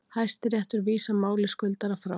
Hæstiréttur vísar máli skuldara frá